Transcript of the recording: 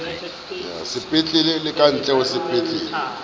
sepetlele le kantle ho sepetlele